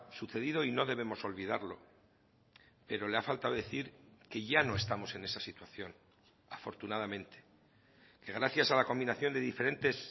sucedido y no debemos olvidarlo pero le ha faltado decir que ya no estamos en esa situación afortunadamente que gracias a la combinación de diferentes